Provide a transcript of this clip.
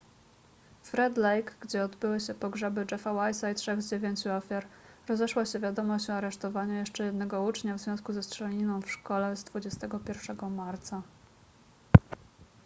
w red lake gdzie obyły się pogrzeby jeffa wise'a i trzech z dziewięciu ofiar rozeszła się wiadomość o aresztowaniu jeszcze jednego ucznia w związku ze strzelaniną w szkole z 21 marca